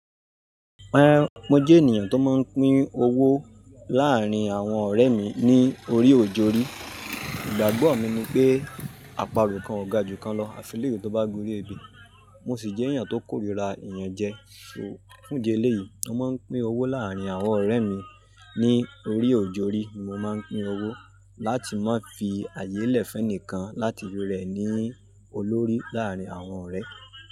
Mo jẹ́ ènìyàn tó máa ń pín owó láàárín àwọn ọ̀rẹ́ mi ní orí oj'òrí. Ìgbàgbọ́ mi ni pé, àparò kan ò ga ju kan lọ. Àfìle ewe tó bá gori èbè, mo sì jẹ́ ènìyàn tó kórìíra ìyànjẹ. Fún idi eléyìí, mo máa ń pín owó láàárín àwọn ọ̀rẹ́ mi ní orí oj'òrí. Mo máa ń pín owó láti má fi àyè lẹ̀ fún ẹnìkan láti rẹ̀ ní olórí láàárín àwọn ọ̀rẹ́.